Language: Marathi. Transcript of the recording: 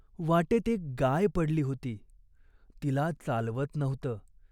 वाटेत एक गाय पडली होती. तिला चालवत नव्हत.